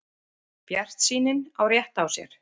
Bjartsýnin á rétt á sér